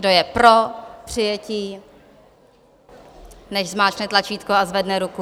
Kdo je pro přijetí, nechť zmáčkne tlačítko a zvedne ruku.